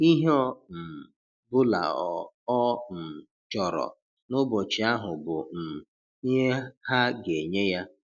Ihe ọ um bụla ọ um chọrọ n'ụbọchị ahụ bụ um ihe ha ga-enye ya.